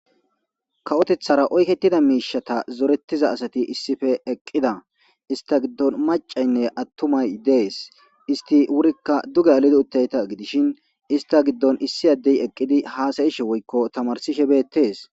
Kawotethara oyketida miishata zorettiza asati issife eqqida ista giddon macaynne attumay dees isti wurikka duge alido uttayta gidishin ista giddon issi addey eqqidi haasayishe woykko tamarsishe beettees.